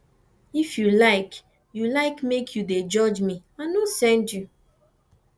if you like you like make you dey judge me i no send you